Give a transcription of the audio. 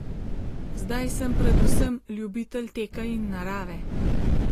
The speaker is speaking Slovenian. Zdaj sem predvsem ljubitelj teka in narave.